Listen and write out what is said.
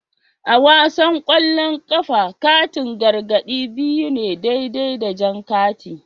A wasan kwallon kafa, katin gargadi biyu ne daidai da jan kati